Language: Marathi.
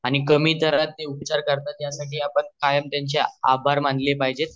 आणि कमी दारात ते उपचार साठी आणि कायम त्यंचे आभार मानले पाहिजेत